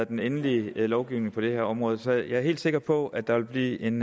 den endelige lovgivning på det her område så jeg er helt sikker på at der vil blive en